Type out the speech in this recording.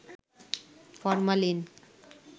formalin